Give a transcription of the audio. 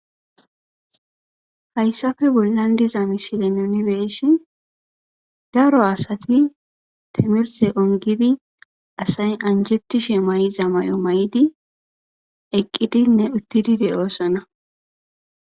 Hayssafe bollan diza misile nunibeshin daro asati timirse ongidi asayi anjetishi may7iza may7o may7di eqqidinne uttidide oossona